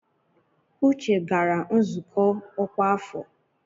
Uche gara nzukọ ọkwa afọ.